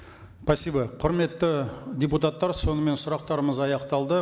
спасибо құрметті депутаттар сонымен сұрақтарымыз аяқталды